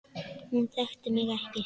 Hún þekkti mig ekki.